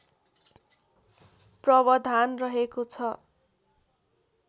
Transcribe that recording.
प्रवधान रहेको छ